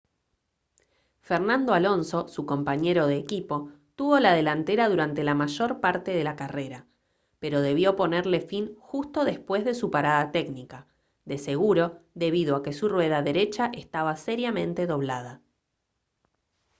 fernando alonso su compañero de equipo tuvo la delantera durante la mayor parte de la carrera pero debió ponerle fin justo después de su parada técnica de seguro debido a que su rueda derecha estaba seriamente doblada